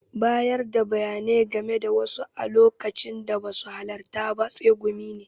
Bayarda bayanai game da wasu a lokacin da basu halarta ba tsegumi ne.